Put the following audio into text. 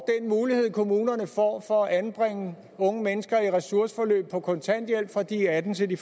mulighed kommunerne får for at anbringe unge mennesker i ressourceforløb på kontanthjælp fra de er atten til de